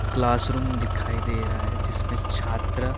class room दिखाई दे रहा है जिसमे छात्र --